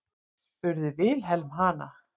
spurði Vilhelm hana.